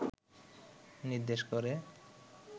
নির্দেশ করে